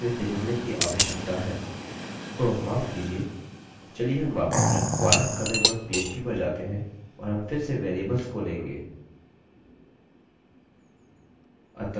ओह माफ़ कीजिये! चलिए हम वापस require connectphp पर जाते हैं और हम फिर से वेरिएबल्स को लेंगे